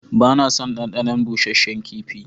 Ba na son ɗanɗanon busasshen kifi.